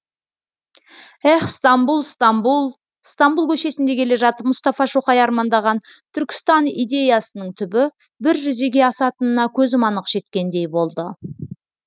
ех стамбұл стамбұл стамбұл көшесінде келе жатып мұстафа шоқай армандаған түркістан идеясының түбі бір жүзеге асатынына көзім анық жеткендей болды